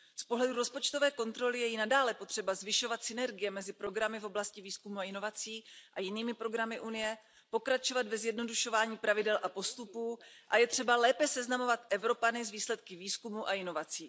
Z pohledu rozpočtové kontroly je i nadále potřeba zvyšovat synergie mezi programy v oblasti výzkumu a inovací a jinými programy Evropské unie, pokračovat ve zjednodušování pravidel a postupů a je třeba lépe seznamovat Evropany s výsledky výzkumu a inovací.